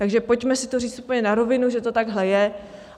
Takže pojďme si to říct úplně na rovinu, že to takhle je.